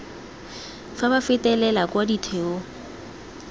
fa ba fetela kwa ditheong